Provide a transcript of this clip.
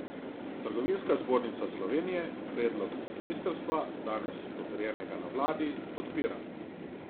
Trgovinska zbornica Slovenije predlog ministrstva, danes potrjenega na vladi, podpira.